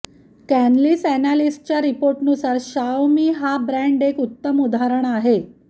Canalys अॅनालिस्टच्या रिपोर्टनुसार Xiaomi हा ब्रॅण्ड एक उत्तम उदाहरण आहे